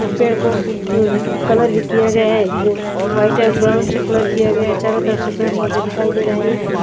दुपहर को अम्म कलर किये गया हैं वाइट और ब्राउन से कलर किया गया है चारो तरफ से पेड़ पौधे दिख रहे है।